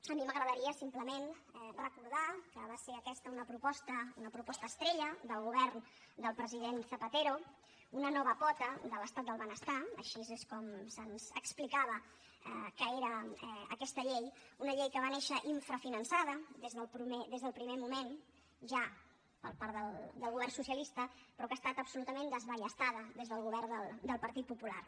a mi m’agradaria simplement recordar que va ser aquesta una proposta una proposta estrella del govern del president zapatero una nova pota de l’estat del benestar així és com se’ns explicava que era aquesta llei una llei que va néixer infrafinançada des del primer moment ja per part del govern socialista però que ha estat absolutament desballestada des del govern del partit popular